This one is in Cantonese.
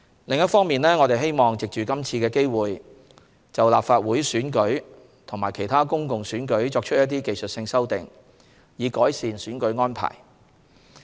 另一方面，我們希望藉今次機會就立法會選舉及其他公共選舉作出一些技術性修訂，以改善選舉安排。